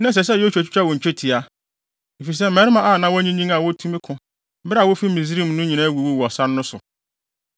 Na ɛsɛ sɛ Yosua twitwa wɔn twetia, efisɛ mmarima a na wɔanyinyin a wotumi ko bere a wofii Misraim no nyinaa awuwu wɔ sare no so.